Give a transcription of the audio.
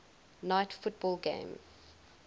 night football game